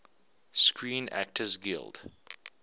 screen actors guild